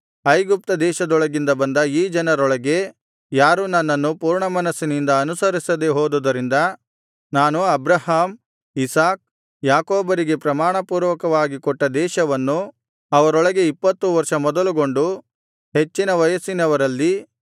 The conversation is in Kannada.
ಐಗುಪ್ತ ದೇಶದೊಳಗಿಂದ ಬಂದ ಈ ಜನರೊಳಗೆ ಯಾರೂ ನನ್ನನ್ನು ಪೂರ್ಣಮನಸ್ಸಿನಿಂದ ಅನುಸರಿಸದೆ ಹೋದುದರಿಂದ ನಾನು ಅಬ್ರಹಾಮ್ ಇಸಾಕ್ ಯಾಕೋಬರಿಗೆ ಪ್ರಮಾಣ ಪೂರ್ವಕವಾಗಿ ಕೊಟ್ಟ ದೇಶವನ್ನು ಅವರೊಳಗೆ ಇಪ್ಪತ್ತು ವರ್ಷ ಮೊದಲುಗೊಂಡು ಹೆಚ್ಚಿನ ವಯಸ್ಸಿನವರಲ್ಲಿ